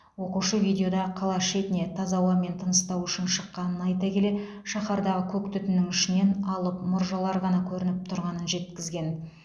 оқушы видеода қала шетіне таза ауамен тыныстау үшін шыққанын айта келе шаһардағы көк түтіннің ішінен алып мұржалар ғана көрініп тұрғанын жеткізген